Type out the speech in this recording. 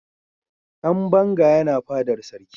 dan banga yana fadar sarki